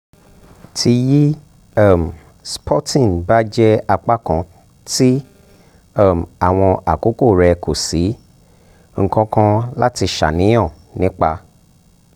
ti yi um spotting ba jẹ apakan ti um awọn akoko rẹ ko si um nkankan lati ṣàníyàn nipa